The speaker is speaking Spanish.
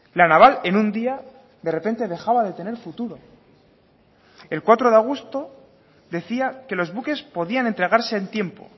la naval en un día de repente dejaba de tener futuro el cuatro de agosto decía que los buques podían entregarse en tiempo